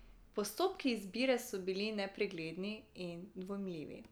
Postopki izbire so bili nepregledni in dvomljivi.